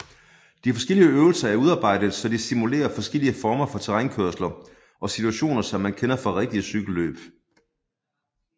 De forskellige øvelser er udarbejdet så de simulerer forskellige former for terrænkørsler og situationer som man kender fra rigtig cykelløb